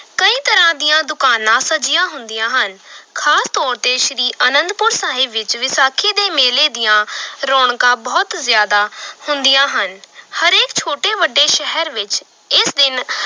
ਕਈ ਤਰਾਂ ਦੀਆਂ ਦੁਕਾਨਾਂ ਸਜੀਆਂ ਹੁੰਦੀਆਂ ਹਨ ਖ਼ਾਸ ਤੌਰ ਤੇ ਸ੍ਰੀ ਅਨੰਦਪੁਰ ਸਾਹਿਬ ਵਿਚ ਵਿਸਾਖੀ ਦੇ ਮੇਲੇ ਦੀਆਂ ਰੌਣਕਾਂ ਬਹੁਤ ਜ਼ਿਆਦਾ ਹੁੰਦੀਆਂ ਹਨ ਹਰੇਕ ਛੋਟੇ ਵੱਡੇ ਸ਼ਹਿਰ ਵਿੱਚ ਇਸ ਦਿਨ